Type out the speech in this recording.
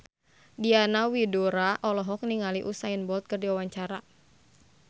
Diana Widoera olohok ningali Usain Bolt keur diwawancara